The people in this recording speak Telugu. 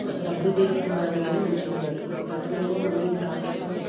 ఆ డబ్బులు తీసుకోడానికి కానీ నించొని ఉన్నారు. ఇంకొక అతను ఏమో మనీ డ్రా చేసుకుని --